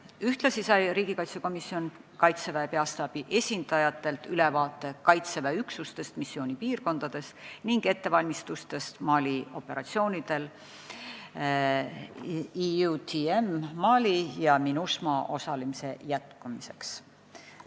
Ühtlasi sai riigikaitsekomisjon Kaitseväe peastaabi esindajatelt ülevaate Kaitseväe üksustest missioonipiirkondades ning ettevalmistustest operatsioonidel EUTM Mali ja MINUSMA osalemise jätkamiseks.